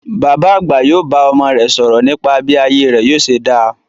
Bàbá àgbà yóò bá ọmọọmọ rẹ̀ sọ̀rọ̀ nípa bí ayé rẹ̀ yóò ṣe dá.